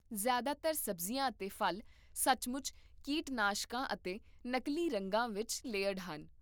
ਜ਼ਿਆਦਾਤਰ ਸਬਜ਼ੀਆਂ ਅਤੇ ਫ਼ਲ ਸੱਚ ਮੁੱਚ ਕੀਟਨਾਸ਼ਕਾਂ ਅਤੇ ਨਕਲੀ ਰੰਗਾਂ ਵਿੱਚ ਲੇਅਰਡ ਹਨ